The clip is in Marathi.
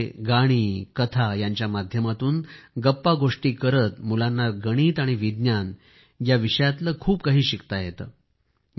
त्यामध्ये गाणी आणि कथा यांच्या माध्यमातून गप्पागोष्टी करीत मुलांना गणित आणि विज्ञान हे विषयातले खूप काही शिकवले जाते